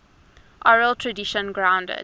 oral tradition grounded